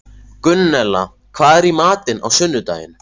Gunnella, hvað er í matinn á sunnudaginn?